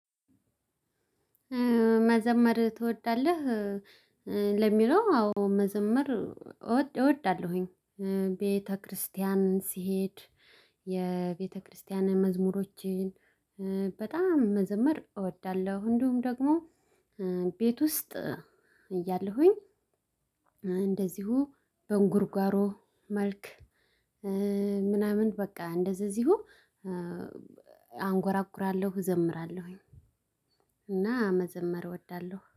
መዘመር ትወዳለህ? ለሚለው አዎ መዘመር እወዳለሁኝ ቤተክርስቲያን ሲሄድ የቤተክርስቲያን መዝሙሮችን በጣም መዘመር እወዳለሁ። እንዲሁም ደግሞ ቤት ውስጥ እያለሁኝ። እንደዚሁ በእንጉርጓሮ መልክ። ምናምን በቃ እንደዘ እዚሁ አንጎራጉራለሁ እዘምራለሁኝ። እና መዘመር እወዳለሁ